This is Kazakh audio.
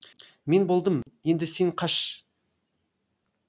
мен болдым енді сен қаш